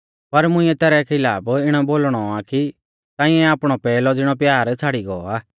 पर मुंइऐ तैरै खिलाफ इणौ बोलणौ आ कि तांइऐ आपणौ पैहलौ ज़िणौ प्यार छ़ाड़ी गौ आ